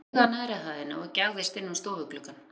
Hann flaug að neðri hæðinni og gægðist inn um stofugluggann.